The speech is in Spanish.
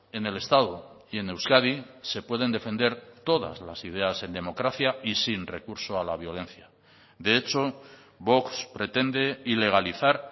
en el estado y en euskadi se pueden defender todas las ideas en democracia y sin recurso a la violencia de hecho vox pretende ilegalizar